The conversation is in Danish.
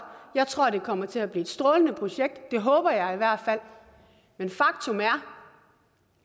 jeg tror at det kommer til at blive et strålende projekt det håber jeg i hvert fald men faktum er